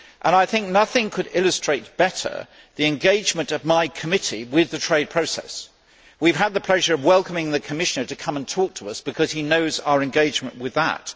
I think nothing could illustrate better the engagement of my committee with the trade process. We have had the pleasure of welcoming the Commissioner to come and talk to us because he knows our engagement with that.